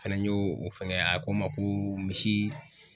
Fɛnɛ y'o o fɛŋɛ a ko ma ko misi